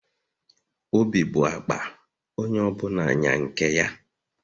Obi bụ akpa, onye ọ bụla nya nke ya